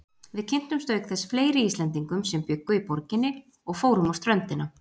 Við kynntumst auk þess fleiri Íslendingum sem bjuggu í borginni og fórum á ströndina.